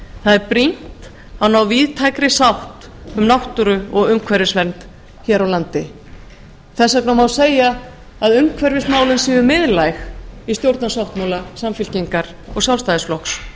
það er brýnt að ná víðtækri sátt um náttúru og umhverfisvernd hér á landi þess vegna má segja að umhverfismálin séu miðlæg í stjórnarsáttmála samfylkingar og sjálfstæðisflokks